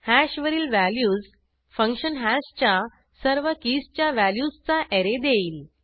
hash वरील values function hash च्या सर्व कीजच्या व्हॅल्यूजचा ऍरे देईल